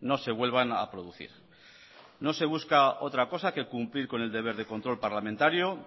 no se vuelvan a producir no se busca otra cosa que cumplir con el deber de control parlamentario